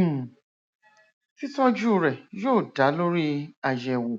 um títọjú rẹ yóò dá lórí àyẹwò